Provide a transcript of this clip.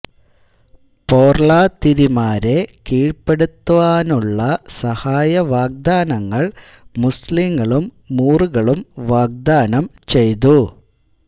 പോർളാതിരിമാരെ കീഴ്പ്പെടുത്തുവാനുള്ള സഹായ വാഗ്ദാനങ്ങൾ മുസ്ലീങ്ങളും മൂറുകളും വാഗ്ദാനം ചെയ്തു